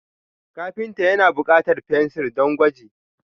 Kafinta ya na bukatar fensir don gwaji.